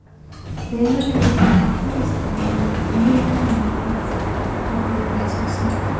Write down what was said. Beeralaygu waxa uu isticmaalaa iniin ka wanaagsan si uu u kordhiyo wax soo saarka.